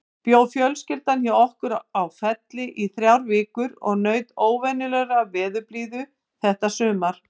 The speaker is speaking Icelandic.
Bjó fjölskyldan hjá okkur á Felli í þrjár vikur og naut óvenjulegrar veðurblíðu þetta sumar.